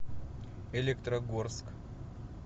электрогорск